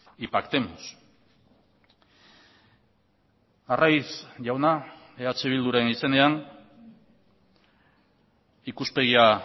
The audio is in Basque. y pactemos arraiz jauna eh bilduren izenean ikuspegia